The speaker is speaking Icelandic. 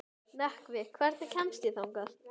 Nökkvi, hvernig kemst ég þangað?